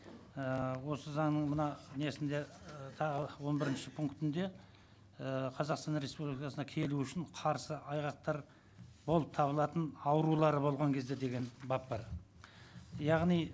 ііі осы заңның мына несінде ы тағы он бірінші пунктінде ііі қазақстан республикасына келу үшін қарсы айғақтар болып табылатын аурулары болған кезде деген бап бар яғни